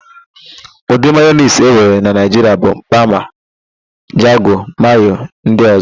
Ụdị mayonis enwere na Naịjiria bụ: bama, jago, mayo ndị ọ̀zọ́.